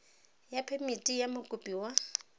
ya phemiti ya mokopi wa